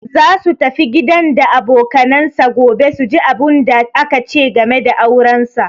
Za su tafi gidan da abokanansa gobe su ji abunda aka ce game da auransa.